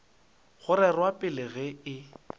go rerwa pele ge e